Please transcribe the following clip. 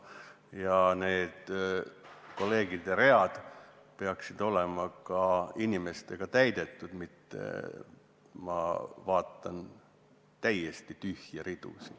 Ja kolleegide toolid peaksid olema inimestega täidetud – praegu ma näen täiesti tühje ridu.